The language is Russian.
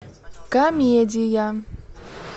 комедия